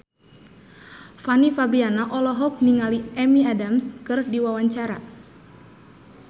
Fanny Fabriana olohok ningali Amy Adams keur diwawancara